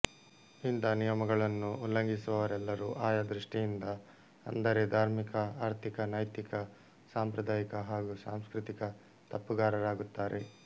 ಇಂಥ ನಿಯಮಗಳನ್ನು ಉಲ್ಲಂಘಿಸುವವರೆಲ್ಲರೂ ಆಯಾ ದೃಷ್ಟಿಯಿಂದ ಅಂದರೆ ಧಾರ್ಮಿಕ ಆರ್ಥಿಕ ನೈತಿಕ ಸಂಪ್ರದಾಯಿಕ ಹಾಗೂ ಸಾಂಸ್ಕ್ರತಿಕ ತಪ್ಪುಗಾರರಾಗುತ್ತಾರೆ